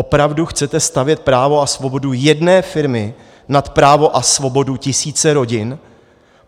Opravdu chcete stavět právo a svobodu jedné firmy nad právo a svobodu tisíce rodin,